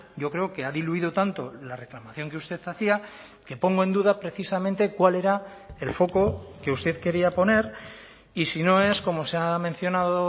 yo creo que ha diluido tanto la reclamación que usted hacía que pongo en duda precisamente cuál era el foco que usted quería poner y si no es como se ha mencionado